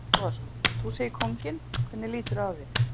Breki Logason: Þú segir kónginn, hvernig líturðu á þig?